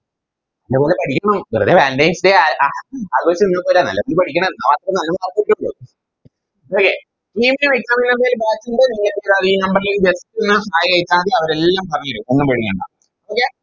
നല്ലപോലെ പഠിക്കണം വെറുതെ Valentines day അ ആഘോഷിച്ച് പോലെന്നെയാന്നെ നല്ലണം പഠിക്കണം Okay നിങ്ങൾക്ക് Exam ന് എന്തേലും Batch ൻറെ ഈനെപ്പറ്റി അറിയേൻ ഈ Number ലേക്ക് Just ഒന്ന് Hai അയച്ചാമതി അവരെല്ലാം പറഞ്ഞേരും ഒന്നും പേടിക്കണ്ട Okay